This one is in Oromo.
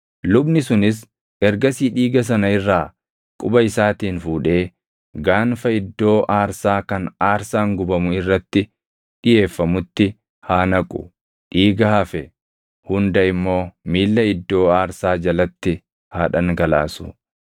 Lubni sunis ergasii dhiiga sana irraa quba isaatiin fuudhee gaanfa iddoo aarsaa kan aarsaan gubamu irratti dhiʼeeffamutti haa naqu; dhiiga hafe hunda immoo miilla iddoo aarsaa jalatti haa dhangalaasu.